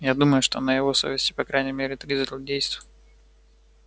я думаю что на его совести по крайней мере три злодейства